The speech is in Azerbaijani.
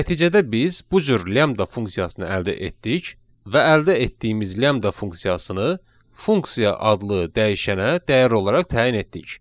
Nəticədə biz bu cür lambda funksiyasını əldə etdik və əldə etdiyimiz lambda funksiyasını funksiya adlı dəyişənə dəyər olaraq təyin etdik.